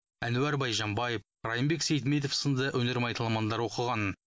әнуарбек байжанбаев райымбек сейітметов сынды өнер майталмандары оқыған